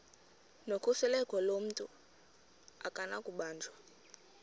nokhuseleko lomntu akunakubanjwa